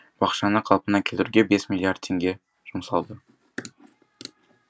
бақшаны қалпына келтіруге бес миллиард теңге жұмсалды